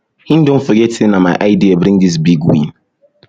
him don forget sey na my idea bring dis big win